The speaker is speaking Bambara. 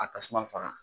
A tasuma faga